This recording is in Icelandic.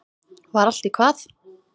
Var allt í hvað?